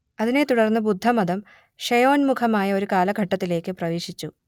അതിനെ തുടർന്ന് ബുദ്ധമതം ക്ഷയോന്മുഖമായ ഒരു കാലഘട്ടത്തിലേക്ക് പ്രവേശിച്ചു